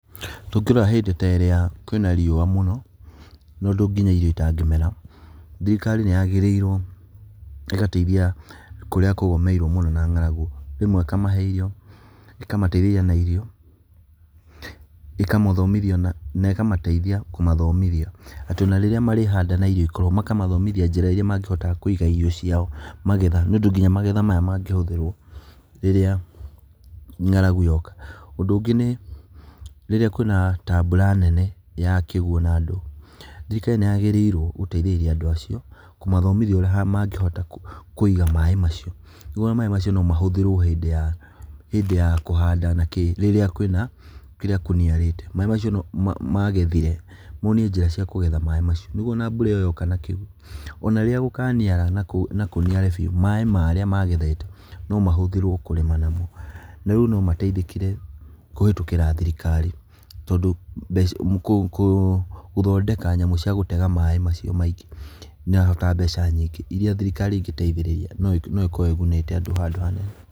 Tũngĩrora hĩndĩ ta ĩrĩa kwĩna riũwa mũno, na ũndũ nginya irio itangĩmera, thirikari nĩyagĩrĩirwo ĩgataithia kũrĩa kũgũmĩirwo mũno na ng'aragu. rĩmwe ĩkamahe irio, ĩkamataithĩrĩria na irio, ĩkamathomithia, na ĩkamataithia kũmathomithia atĩ rĩrĩa marĩhanda na irio ikorwo, makamathomithia njĩra iria mangĩhota kũiga irio cia magetha, nĩ ũndũ nginya magetha maya mangĩhũthĩrwo rĩrĩa ng'aragu yoka. Ũndũ ũngĩ nĩ rĩrĩa kwĩna ta mbura nene ya kĩguũ na ndũ, thirirkari nĩyagĩrĩirwo gũtaithĩrĩria andũ acio, kũmathomithia ũrĩa mangĩhota kũiga maaĩ macio, nĩguo ona maaĩ macio nomahũthĩrwo hĩndĩ ya kũhanda na kĩĩ, rĩrĩa kũniarĩte maaĩ macio magethire, monio njĩra ciakũgetha maaĩ macio, nĩguo ona mbura ĩyo yoka na kĩguũ, ona rĩrĩa gũkaniara na kũniare biũ, maaĩ marĩa magethete nomahũthĩrwo kũrĩma namo, narĩu nomataithĩkire kũhĩtũkĩra thirikari tondũ gũthondeka nyamũ cia gũtega maaĩ macio maingĩ, nĩirabatara mbeca nyingĩ, iria thirikari ĩngĩtaithĩrĩria, noĩkorwo ĩgunĩte andũ handũ hanene.